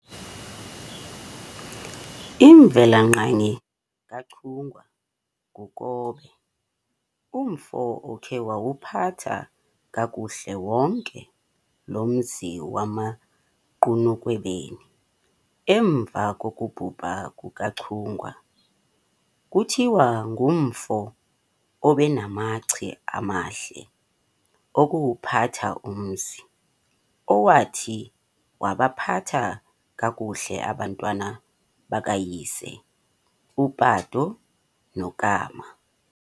Imvela ngqangi kaChungwa nguKobe, umfo okhe wawuphatha kakuhle wonke lo mzi wasemaGqunukhwebeni emva kokubhubha kukaChungwa. Kuthiwangumfo ebenamaci amahle okuwuphatha umzi, owathi wabaphatha kakuhle abantwana bakayise uPato noKama.